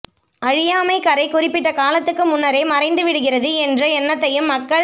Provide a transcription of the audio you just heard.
அழியா மை கறை குறிப்பிட்ட காலத்துக்கு முன்னரே மறைந்து விடுகிறது என்ற எண்னத்தையும் மக்கள்